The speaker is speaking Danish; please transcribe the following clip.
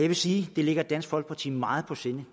vil sige at det ligger dansk folkeparti meget på sinde